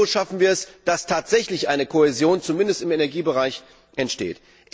Nur so schaffen wir es, dass tatsächlich eine Kohäsion zumindest im Energiebereich entsteht.